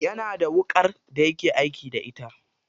Yana da wuƙar daya ke aiki da ita.